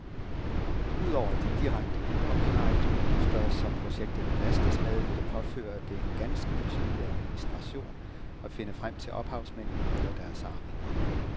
Udover de direkte copyrightudgifter, som projektet belastes med, vil det påføre det en ganske betydelig administration at finde frem til ophavsmændene eller deres arvinger.